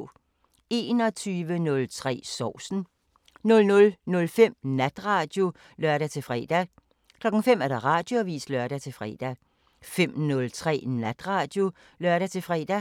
21:03: Sovsen 00:05: Natradio (lør-fre) 05:00: Radioavisen (lør-fre) 05:03: Natradio (lør-fre)